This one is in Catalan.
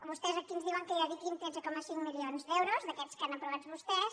vostès aquí ens diuen que hi dediquin tretze coma cinc milions d’euros d’aquests que han aprovat vostès